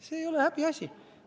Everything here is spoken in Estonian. See ei ole häbiasi.